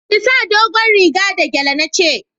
Ki sa dogon riga da gyale na ce